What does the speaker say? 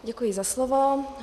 Děkuji za slovo.